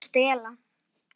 Það kann ekki að stela.